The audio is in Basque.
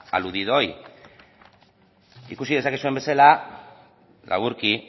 aludido hoy ikusi dezakezuen bezala laburki